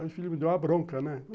Aí o filho me deu uma bronca, né?